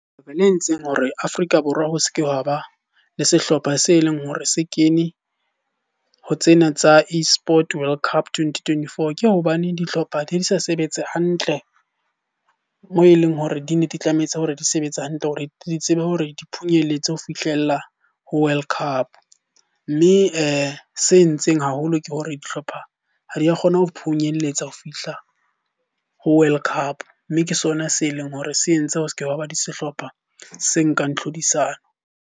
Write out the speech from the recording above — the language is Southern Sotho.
Ho ba le entseng hore Afrika Borwa ho se ke hwa ba le sehlopha se leng hore se kene ho tsena tsa e-Sport World Cup Twenty-twenty-four. Ke hobane dihlopha di ne di sa sebetse hantle moo e leng hore di ne di tlametse hore di sebetsa hantle. Hore di tsebe hore di phunyelletse ho fihlella ho World Cup. Mme se entseng haholo ke hore dihlopha ha di a kgona ho phunyelletsa ho fihla ho World Cup. Mme ke sona se leng hore se entse ho sekebe hwaba di sehlopha se nkang tlhodisano.